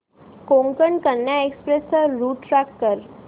Konkan Kanya express चा route track कर